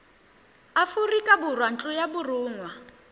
aforika borwa ntlo ya borongwa